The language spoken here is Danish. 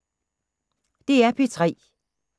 DR P3